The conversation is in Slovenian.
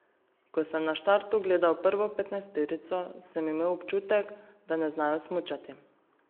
Ko sem na štartu gledal prvo petnajsterico, sem imel občutek, da ne znajo smučati.